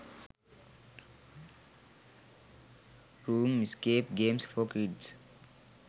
room escape games for kids